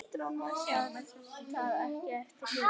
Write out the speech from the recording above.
Lét það ekki eftir sér.